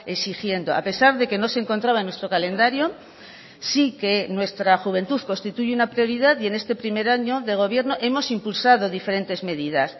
exigiendo a pesar de que no se encontraba en nuestro calendario sí que nuestra juventud constituye una prioridad y en este primer año de gobierno hemos impulsado diferentes medidas